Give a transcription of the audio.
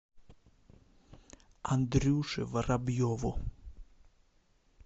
андрюше воробьеву